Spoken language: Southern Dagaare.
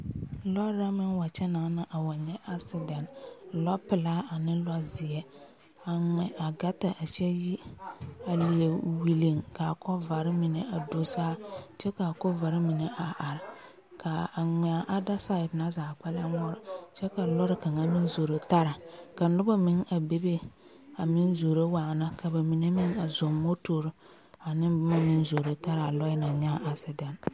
Lͻͻre la meŋ wa kyԑnaa na a wa nyԑ asedԑnte, lͻpelaa ane lͻzeԑ, a ŋmԑ a gaata a kyԑ yi. A leԑ welliŋ ka a kͻvare mine do saa kyԑ ka a kͻvare mine a are kaa a ŋmԑԑ a ada saԑt na zaa kpԑlem ŋmore kyԑ ka lͻre kaŋa meŋ zoro tara. Ka noba meŋ a bebe a meŋ zoro waana ka ba mine meŋ a zͻŋ motori ane boma meŋ zoro tara a lͻԑ naŋ nyaa asedԑnte.